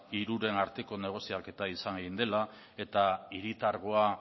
hiruren arteko negoziaketa izan egin dela eta hiritargoa